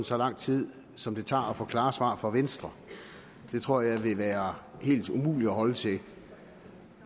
så lang tid som det tager at få klare svar fra venstre det tror jeg vil være helt umuligt at holde til